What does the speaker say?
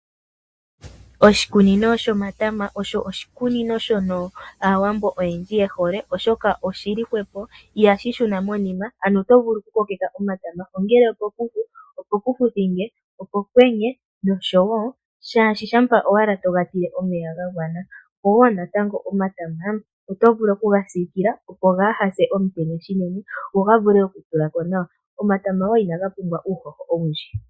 Oshikunino shomatama osho oshikunino shono Aawambo oyendji ye hole, oshoka oshi li hwepo itashi shuna monima. Oto vulu okukokeka omatama, ongele opokufu, opokufuthinge, opokwenye nosho tuu. Shampa ashike to ga tile omeya ga gwana, opo wo natango omatama oto vulu okuga siikila, opo kaaga pye omutenya unene go ga vule okutula ko nawa. Omatama wo ihaga pumbwa uuhoho owundji.